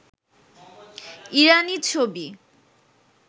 ইরানী ছবি